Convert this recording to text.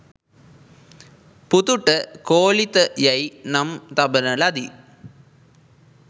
පුතුට කෝලිත යැයි නම් තබන ලදී.